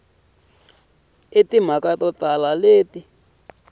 na timhaka to tala leti